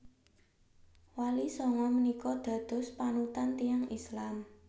Wali sanga menika dados panutan tiyang Islam